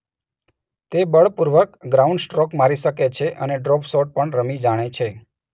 તે બળપૂર્વક ગ્રાઉન્ડસ્ટ્રોક મારી શકે છે અને ડ્રોપ શોટ પણ રમી જાણે છે.